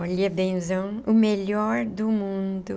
Olha, benzão, o melhor do mundo.